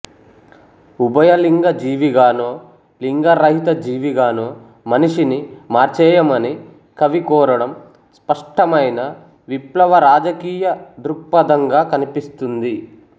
ఉభయలింగ జీవిగానో లింగరహిత జీవిగానో మనిషిని మార్చేయమని కవి కోరడం స్పష్టమైన విప్లవ రాజకీయ దృక్పథంగా కనిపిస్తుంది